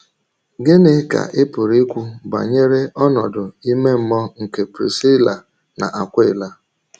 Gịnị ka ị pụrụ ikwu banyere ọnọdụ ìmè mmụọ nke Prisíla na Akwịla?